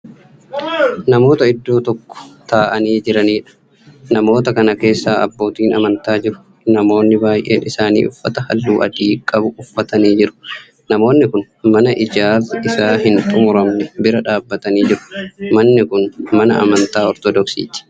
Namoota iddoo tokko taa'anii Jiranidha. namoota Kana keessa abbootiin amantaa jiru. namoonni baay'een isaanii uffata halluu adii qabu uffatanii Jiru. namoonni Kuni mana ijaarsi Isaa hin xumuramne bira dhaabatanii jiru. manni Kuni mana amantaa ortoodoksiiti.